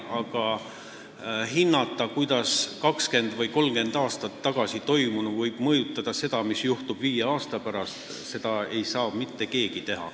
Aga hinnata seda, kuidas võib 20 või 30 aastat tagasi toimunu mõjutada seda, mis juhtub viie aasta pärast, ei saa mitte keegi.